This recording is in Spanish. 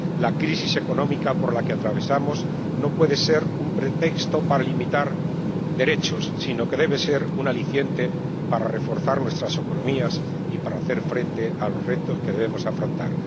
La crisis económica por la que atravesamos no puede ser un pretexto para limitar derechos, sino que debe ser un aliciente para reforzar nuestras economías y para hacer frente a los retos que debemos afrontar.